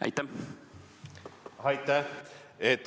Aitäh!